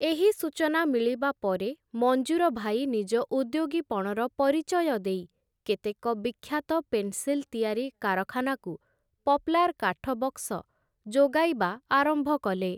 ଏହି ସୂଚନା ମିଳିବା ପରେ ମଞ୍ଜୁର ଭାଇ ନିଜ ଉଦ୍ୟୋଗୀପଣର ପରିଚୟ ଦେଇ କେତେକ ବିଖ୍ୟାତ ପେନ୍ସିଲ ତିଆରି କାରଖାନାକୁ ପପ୍ଲାର୍ କାଠବକ୍ସ ଯୋଗାଇବା ଆରମ୍ଭ କଲେ ।